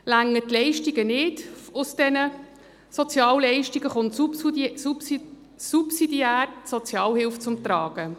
Reichen die Leistungen aus diesen Sozialleistungen nicht, kommt subsidiär die Sozialhilfe zum Tragen.